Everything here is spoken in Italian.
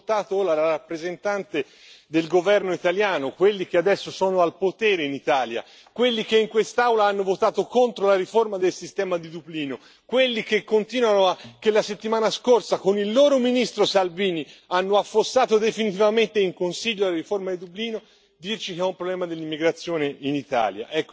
Abbiamo ascoltato ora la rappresentante del governo italiano quelli che adesso sono al potere in Italia, quelli che in quest'Aula hanno votato contro la riforma del sistema di Dublino, quelli che la settimana scorsa con il loro Ministro Salvini hanno affossato definitivamente in Consiglio la riforma di Dublino dirci che è un problema dell'immigrazione in Italia.